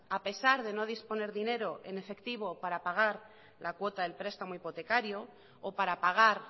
a pesar de no disponer dinero en efectivo para pagar la cuota del prestamo hipotecario o para pagar